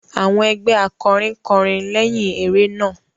Àwọn ẹgbẹ akọrin kọrin leyin eré náà.